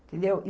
Entendeu?